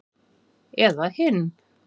Eða hinn